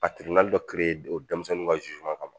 A dɔ o denmisɛnninw ka kama